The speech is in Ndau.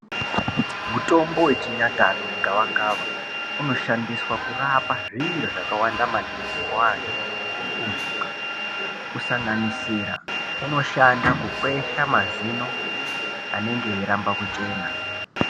Mutombo wechinyakare wegavakava unoshandiswa kurapa zviro zvakawanda maningi kuantu kusanganisira unoshanda kukwesha mazino anenge eiramamba kuchena.